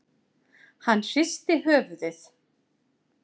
Hann hristi höfuðið.